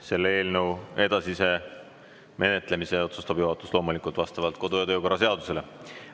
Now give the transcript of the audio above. Selle eelnõu edasise menetlemise otsustab juhatus loomulikult vastavalt kodu‑ ja töökorra seadusele.